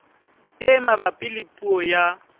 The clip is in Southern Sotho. e mabapi le puo ya